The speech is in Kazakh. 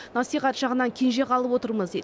насихат жағынан кенже қалып отырмыз дейді